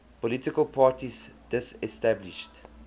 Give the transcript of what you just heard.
political parties disestablished